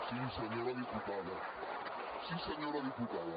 sí senyora diputada sí senyora diputada